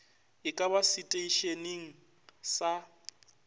e ka ba seteišeneng sa